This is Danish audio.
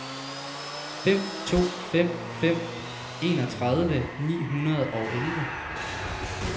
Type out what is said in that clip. fem to fem fem enogtredive ni hundrede og elleve